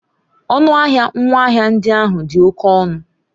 Ọnụ ahịa ngwaahịa ndị ahụ dị oke ọnụ.